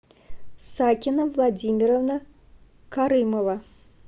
сакина владимировна карымова